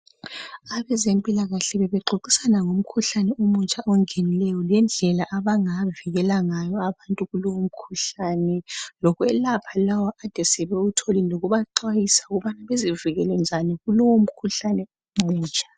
Abezempilakahle bebexoxisana ngomkhuhlane omutsha ongenileyo lendlela abangavikela ngayo abantu kulomkhuhlani lokhwelapha lawa abakade sebewutholile lokubaxwayisa ukuthi bavikeleke njani kulowu mkhuhlane omutsha.